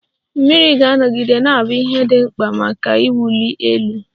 Mmiri ga-anọgide na-abụ ihe dị mkpa maka iwuli elu.